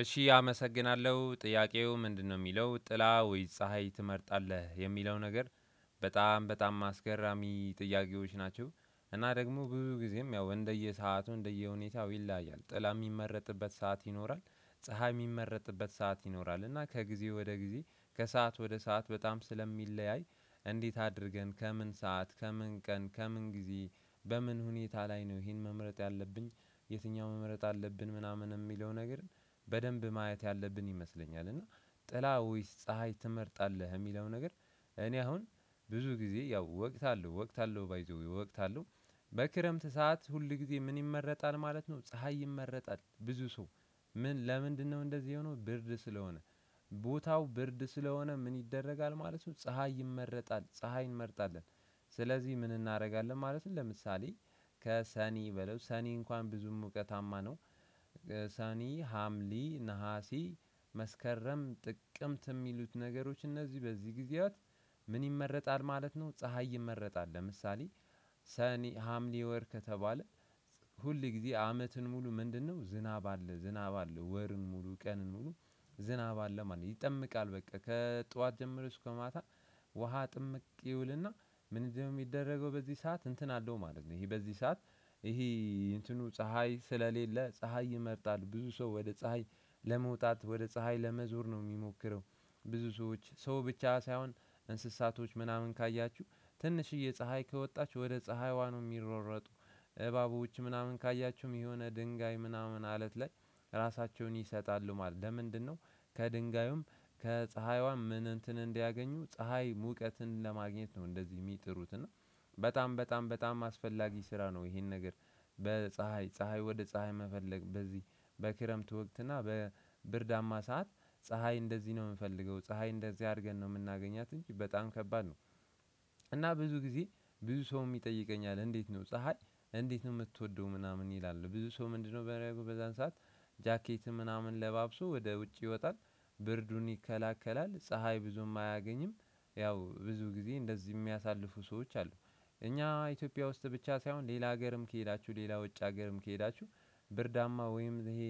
እሺ አመሰግናለሁ ጥያቄው ምንድነው? የሚለው ጥላ ወይስ ፀሀይ ትመርጣለህ የሚለው ነገር በጣም በጣም አስገራሚ ጥያቄዎች ናቸው። እና ደግሞ ብዙ ጊዜም ያው እንደየሰአቱ እንደየሁኔታው ይለያያል። ጥላ የሚመረጥበት ሰዓት ይኖራል። ፀሀይ የሚመረጥበት ሰዓት ይኖራል። እና ከጊዜ ወደ ጊዜ ከሰአት ወደ ሰዓት በጣም ስለሚለያይ እንዴት አድርገን ከምን ሰዓት ከምን ቀን ከምን ጊዜ በምን ሁኔታ ላይ ነው ይሄን መምረጥ ያለብኝ? የትኛው መምረጥ አለብን ምናምን የሚለው ነገር በደንብ ማየት ያለብን ይመስለኛል። እና ጥላ ወይስ ፀሀይ ትመርጣለህ? የሚለው ነገር። እኔ አሁን ብዙ ጊዜ ያው ወቅት አለው ወቅት አለው ባይ ዘ ዌይ ወቅት አለው። በክረምት ሰዓት ሁል ጊዜ ምን ይመረጣል ማለት ነው። ፀሀይ ይመረጣል ብዙ ሰው። ለምንድነው እንደዚህ የሆነው? ብርድ ስለሆነ። ቦታው ብርድ ስለሆነ ምን ይደረጋል ማለት ነው። ፀሀይ ይመረጣል ፀሀይ እንመርጣለን። ስለዚህ ምን እናደርጋለን ማለትም ለምሳሌ ከሰኔ በለው ሰኔ እንኳን ብዙም ሙቀታማ ነው። ሰኔ ሀምሌ ነሀሴ መስከረም ጥቅምት የሚሉት ነገሮች እነዚህ በዚህ ጊዜያት። ምን ይመረጣል ማለት ነው። ፀሀይ ይመረጣል። ለምሳሌ ሰኔ ሀምሌ ወር ከተባለ። ሁል ጊዜ አመትን ሙሉ ምንድነው ዝናብ አለ ዝናብ አለ ወርን ሙሉ ቀንን ሙሉ። ዝናብ አለ ማለት ነው ይጠመቃል በቃ ከጧት ጀምሮ እሱ ከማታ። ውሃ ጥምቅ ይውልና። ምን እንደሚደረገው በዚህ ሰዓት እንትን አለው ማለት ነው። ይሄ በዚህ ሰዓት። ይሄ እንትኑ ፀሀይ ስለሌለ ፀሀይ ይመርጣል ብዙ ሰው ወደ ፀሀይ ለመውጣት ወደ ፀሀይ ለመዞር ነው የሚሞክረው። ብዙ ሰዎች ሰው ብቻ ሳይሆን እንስሳቶች ምናምን ካያችሁ ትንሽዬ ፀሀይ ከወጣች ወደ ፀሀይዋ ነው የሚሯሯጡ። እባቦች ምናምን ካያችሁም የሆነ ድንጋይ ምናምን አለት ላይ ራሳቸውን ይሰጣሉ ማለት ነው። ለምንድነው ከድንጋዩም ከፀሀይዋም ምን እንትን እንዲያገኙ ፀሀይ ሙቀትን ለማግኘት ነው። እንደዚህ የሚጥሩት እና። በጣም በጣም በጣም አስፈላጊ ስራ ነው ይሄን ነገር። በፀሀይ ፀሀይ ወደ ፀሀይ መፈለግ በዚህ በክረምት ወቅት እና በብርዳማ ሰዓት ፀሀይ እንደዚህ ነው የምንፈልገው። ፀሀይ እንደዚህ አድርገን ነው የምናገኛት እንጂ በጣም ከባድ ነው። እና ብዙ ጊዜ ብዙ ሰው የሚጠይቀኝ አለ እንዴት? ነው ፀሀይ እንዴት ነው የምትወደው ምናምን ይላል። ብዙ ሰው ምንድነው ሚያደርገው በዛን ሰዓት? ጃኬትን ምናምን ለባብሶ ወደ ውጭ ይወጣል። ብርዱን ይከለከላል ፀሀይ ብዙም አያገኝም። ያው ብዙ ጊዜ እንደዚህ የሚያሳልፉ ሰዎች አሉ። እኛ ኢትዮጵያ ውስጥ ብቻ ሳይሆን ሌላ ሀገርም ከሄዳችሁ ሌላ ውጭ ሀገርም ከሄዳችሁ። ብርዳማ ወይም ይሄ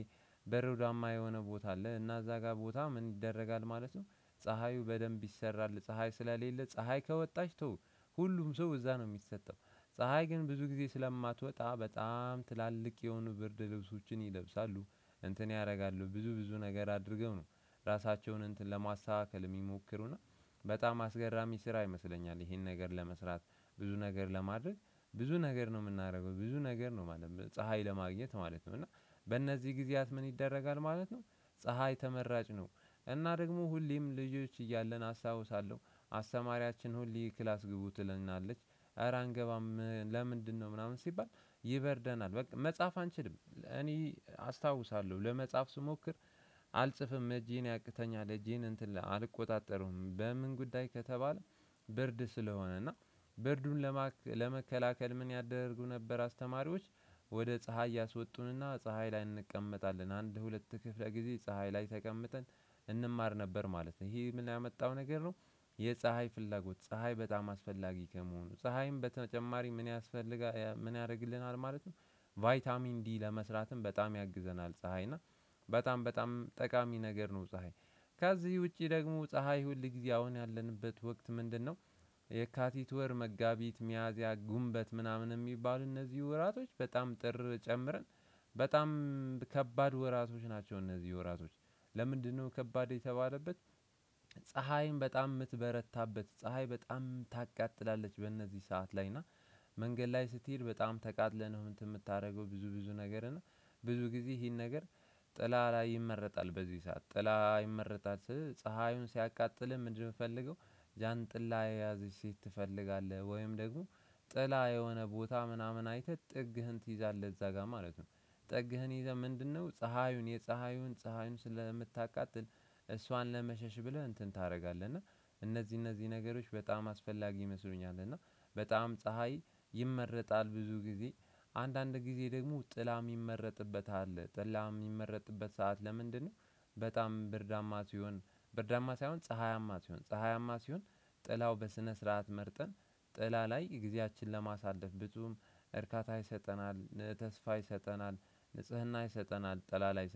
በረዷማ የሆነ ቦታ አለ እና እዛ ጋር ቦታ ምን ይደረጋል? ማለትም ፀሀዩ በደንብ ይሰራል ፀሀይ ስለሌለ ፀሀይ ከወጣች ተው ሁሉም ሰው እዛ ነው የሚሰጠው። ፀሀይ ግን ብዙ ጊዜ ስለማትወጣ በጣም ትላልቅ የሆኑ ብርድ ልብሶችን ይለብሳሉ። እንትን ያደርጋሉ ብዙ ብዙ ነገር አድርገው ነው ራሳቸውን እንትን ለማስተካከል የሚሞክሩና። በጣም አስገራሚ ስራ ይመስለኛል። ይሄን ነገር ለመስራት ብዙ ነገር ለማድረግ ብዙ ነገር ነው የምናደርገው ብዙ ነገር ነው ማለት ነው። ፀሀይ ለማግኘት ማለት ነው። እና በእነዚህ ጊዜያት ምን ይደረጋል ማለት ነው። ፀሀይ ተመራጭ ነው። እና ደግሞ ሁሌም ልጆች እያለን አስታውሳለሁ አስተማሪያችን ሁሌ ክላስ ግቡ ትለናለች። እረ አንገባም ለምንድነው ምናምን ሲባል? ይበርደናል በቃ መጽሐፍ አንችልም እኔ አስታውሳለሁ ለመጽጻ ስሞክር። አልጽፍም እጄን ያቅተኛል እጄን እንትን አልቆጣጠረውም በምን ጉዳይ ከተባለ። ብርድ ስለሆነ እና ብርዱን ለመከላከል ምን ያደርጉ ነበር አስተማሪዎች? ወደ ፀሀይ ያስወጡንና ፀሀይ ላይ እንቀመጣለን አንድ ሁለት ክፍለ ጊዜ ፀሀይ ላይ ተቀምጠን እንማር ነበር ማለት ነው። ይሄ ምን ያመጣው ነገር ነው? የፀሀይ ፍላጎት ፀሀይ በጣም አስፈላጊ ከመሆኑ ፀሀይም በተጨማሪ ምን ያስፈልጋል ምን ያደርግልናል ማለትም? ቫይታሚን ዲ ለመስራትም በጣም ያግዘናል። ፀሀይ እና በጣም በጣም ጠቃሚ ነገር ነው። ፀሀይ። ከዚህ ውጪ ደግሞ ፀሀይ ሁል ጊዜ አሁን ያለንበት ወቅት ምንድነው? የካቲት ወር መጋቢት ሚያዝያ ጉምበት ምናምን የሚባል እነዚህ ወራቶች በጣም ጥር ጨምረን በጣም ከባድ ወራቶች ናቸው። እነዚህ ወራቶች ለምንድነው ከባድ የተባለበት? ፀሀይን በጣም የምትበረታበት ፀሀይ በጣም ታቃጥላለች በእነዚህ ሰዓት ላይ እና። መንገድ ላይ ስትሄድ በጣም ተቃጥለህ ነው የምታደርገው። ብዙ ብዙ ነገር እና ብዙ ጊዜ ይሄን ነገር። ጥላ ላይ ይመረጣል በዚህ ሰዓት ጥላ ይመረጣል ስል ፀሀዩን ሲያቃጥልህ ምንድነው የምትፈልገው? ጃንጥላ የያዘች ሴት ትፈልጋለህ ወይም ደግሞ ጥላ የሆነ ቦታ ምናምን አይተህ ጥግህን ትይዛለህ እዛ ጋር ማለት ነው። ጥግህን ይዘህ ምንድነው ፀሀዩን የፀሀዩን ፀሀዩን ስለምታቃጥል። እሷን ለመሸሽ ብለህ እንትን ታደርጋለህ እና። እነዚህ እነዚህ ነገሮች በጣም አስፈላጊ ይመስሉኛል እና። በጣም ፀሀይ ይመረጣል ብዙ ጊዜ። አንዳንድ ጊዜ ደግሞ ጥላ የሚመረጥበት አለ ጥላ የሚመረጥበት ሰዓት ለምንድነው? በጣም ብርዳማ ሲሆን ብርዳማ ሳይሆን ፀሀያማ ሲሆን ፀሀያማ ሲሆን። ጥላው በስነ ስርዓት መርጠን ጥላ ላይ ጊዜያችንን ለማሳለፍ ብዙም እርካታ ይሰጠናል። ተስፋ ይሰጠናል። ንጽህና ይሰጠናል ጥላ ላይ